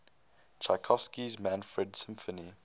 tchaikovsky's manfred symphony